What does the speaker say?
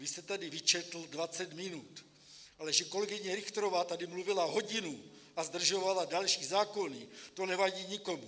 Vy jste tady vyčetl 20 minut, ale že kolegyně Richterová tady mluvila hodinu a zdržovala další zákony, to nevadí nikomu.